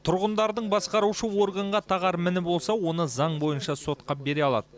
тұрғындардың басқарушы органға тағар міні болса оны заң бойынша сотқа бере алады